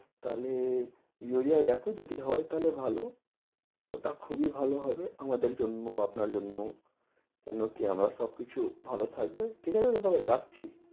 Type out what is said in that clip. তাহলে ইউরিয়া দেখো যদি হয় তাহলে ভালো ওটা খুবই ভালো হবে আমাদের জন্য আপনার জন্য কেন কি আমার সবকিছু ভালো থাকবে ঠিকাছে দাদাভাই রাখছি